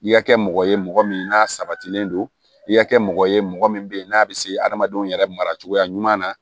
I ka kɛ mɔgɔ ye mɔgɔ min n'a sabatilen don i ka kɛ mɔgɔ ye mɔgɔ min bɛ yen n'a bɛ se adamadenw yɛrɛ mara cogoya ɲuman na